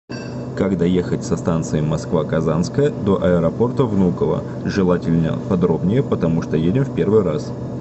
как доехать со станции москва казанская до аэропорта внуково желательно подробнее потому что едем в первый раз